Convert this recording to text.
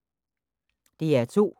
DR2